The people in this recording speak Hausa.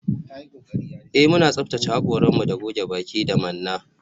Eh muna tsaftace hakoranmu da goge baki da manna